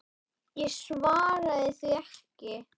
Ég svaraði því ekki.